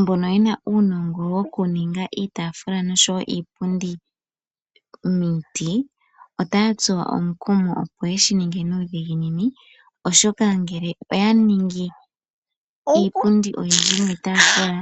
Mbono yena uunongo wokuninga iitaafula noshowo iipundi niiti, otaya tsuwa omukumo opo yeshininge nuudhiginini .Oshoka ngele oya ningi iipundi oyindji niitaafula